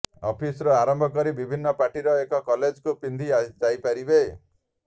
ଅଫିସ୍ରୁ ଆରମ୍ଭ କରି ବିଭିନ୍ନ ପାର୍ଟି ଏବଂ କଲେଜକୁ ପିନ୍ଧି ଯାଇପାରିବେ